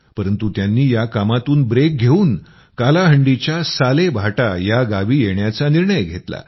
परंतु त्यांनी या कामातून ब्रेक घेवून कालाहांडीच्या सालेभाटा या गावी येण्याचा निर्णय घेतला